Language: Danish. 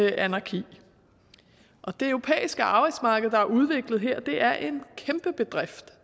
anarki og det europæiske arbejdsmarked der er udviklet her er en kæmpe bedrift